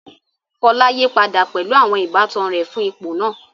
Fola yí padà pẹ̀lú àwọn ìbátan rẹ̀ fún ipò náà.